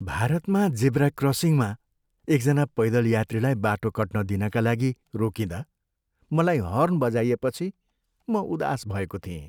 भारतमा जेब्रा क्रसिङमा एकजना पैदल यात्रीलाई बाटो कट्न दिनका लागि रोकिँदा मलाई हर्न बजाइएपछि म उदास भएको थिएँ।